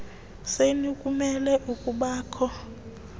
senu kumele ukubakho